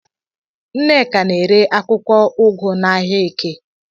Nneka na-ere akwụkwọ ụgụ n'ahia eke